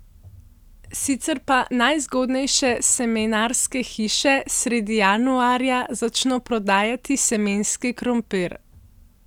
Sicer pa najzgodnejše semenarske hiše sredi januarja začno prodajati semenski krompir.